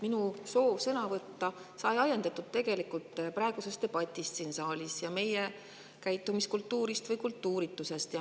Minu soov sõna võtta on ajendatud sellest debatist siin saalis ja meie käitumiskultuurist või kultuuritusest.